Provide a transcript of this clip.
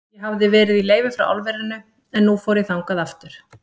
Ég hafði verið í leyfi frá álverinu, en nú fór ég þangað aftur.